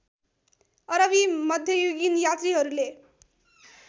अरबी मध्ययुगीन यात्रीहरूले